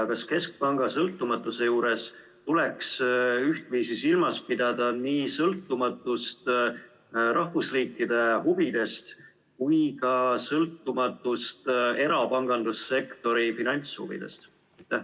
Ja kas keskpanga sõltumatuse juures tuleks ühtviisi silmas pidada nii sõltumatust rahvusriikide huvidest kui ka sõltumatust erapangandussektori finantshuvidest?